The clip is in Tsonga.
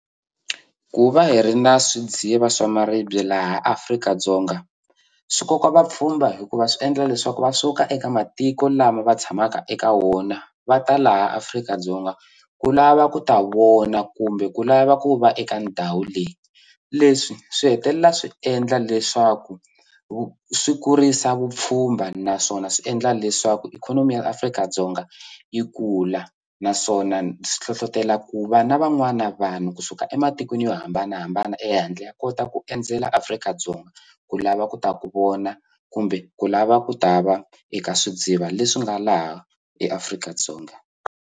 Ku va hi ri na swidziva swa maribye laha Afrika-Dzonga swi koka vapfhumba hikuva swi endla leswaku va suka eka matiko lama va tshamaka eka wona va ta laha Afrika-Dzonga ku lava ku ta vona kumbe ku lava ku va eka ndhawu leyi leswi swi hetelela swi endla leswaku swi kurisa vupfhumba naswona swi endla leswaku ikhonomi ya Afrika-Dzonga yi kula naswona swi hlohlotela ku va na van'wana vanhu kusuka ematikweni yo hambanahambana ehandle ya kota ku endzela Afrika-Dzonga ku lava ku ta ku vona kumbe ku lava ku ta va eka swidziva leswi nga laha eAfrika-Dzonga.